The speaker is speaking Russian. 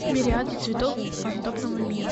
мириады цветов фантомного мира